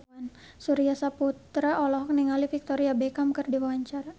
Surya Saputra olohok ningali Victoria Beckham keur diwawancara